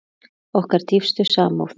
Okkar dýpstu samúð.